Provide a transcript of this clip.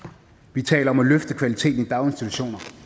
vi taler om at løfte kvaliteten i daginstitutioner